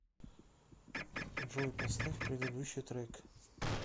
джой поставь предыдущий трек